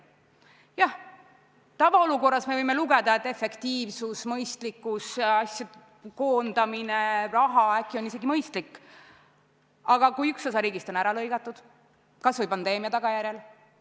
Jah, tavaolukorras me võime arvata, et efektiivsus, mõistlikkus, asjade ja äkki ka raha koondamine on isegi mõistlik, aga mis saab siis, kui üks osa riigist on ära lõigatud, kasvõi pandeemia tagajärjel?